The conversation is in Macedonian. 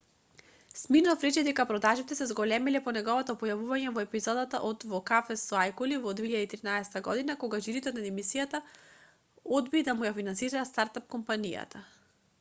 смирноф рече дека продажбите се зголемиле по неговото појавување во епизодата од во кафез со ајкули во 2013 година кога жирито на емисијата одби да му ја финансира старт-ап компанијата